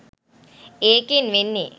ඒකෙන් වෙන්නෙ